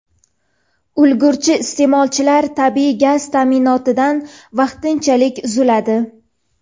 ulgurji iste’molchilar tabiiy gaz ta’minotidan vaqtinchalik uziladi.